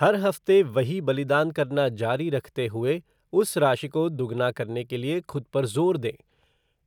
हर हफ्ते वही बलिदान करना जारी रखते हुए उस राशि को दुगना करने के लिए खुद पर ज़ोर दें,